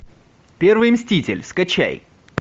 первый мститель скачай